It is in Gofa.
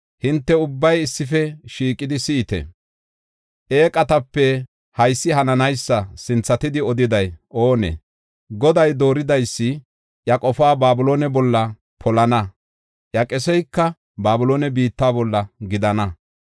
“Hinte ubbay issife shiiqidi si7ite; eeqatape haysi hananaysa sinthatidi odiday oonee? Goday dooridaysi iya qofaa Babiloone bolla polana; iya qeseyka Babiloone biitta bolla gidana.